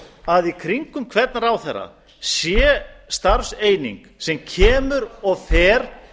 að í kringum hvern ráðherra sé starfseining sem kemur og fer